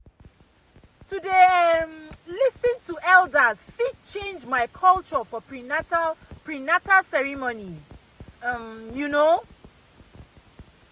to dey um lis ten to elders fit change by culture for prenatal prenatal ceremonies pause um you know.